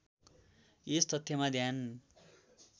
यस तथ्यमा ध्यान